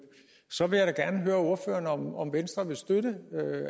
så vil jeg da gerne høre ordføreren om om venstre vil støtte